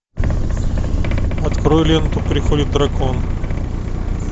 открой ленту приходит дракон